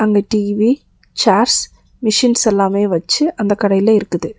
அங்க TV chairs machines எல்லாமெ வச்சு அந்த கடையிலெ இருக்குது.